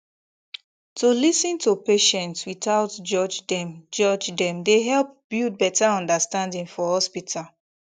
to lis ten to patient without judge dem judge dem dey help build better understanding for hospital